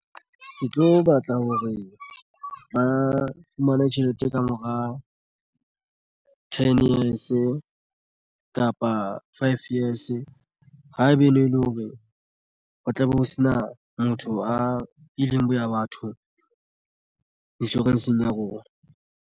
Ke tlo batla hore ba fumane tjhelete ka mora ten years kapa five years. Haebe e ne e le hore ho tlabe ho sena motho a ileng boya batho insurance-ng ya rona.